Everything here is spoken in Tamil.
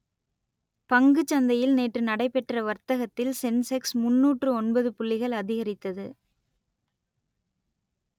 பங்குச் சந்தையில் நேற்று நடைபெற்ற வர்த்தகத்தில் சென்செக்ஸ் முன்னூற்று ஒன்பது புள்ளிகள் அதிகரித்தது